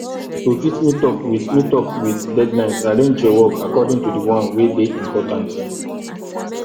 to fit meet up with meet up with deadlines arrange your work according to the one wey de important